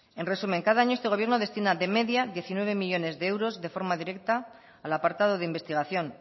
en resumen cada año este gobierno destina de media diecinueve millónes de euros de forma directa al apartado de investigación